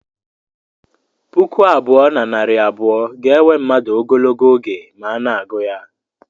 Puku abụọ na narị abụọ ga-ewe mmadụ ogologo oge ma a na-agụ ya